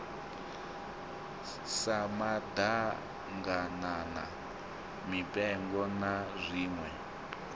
sa maḓaganana mipengo na zwiṋwe